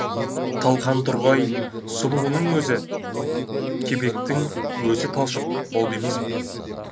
талқан тұрғай сұлының өзі кебектің өзі талшық болды емес пе